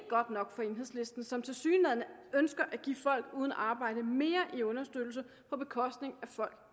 godt nok for enhedslisten som tilsyneladende ønsker at give folk uden arbejde mere i understøttelse på bekostning af folk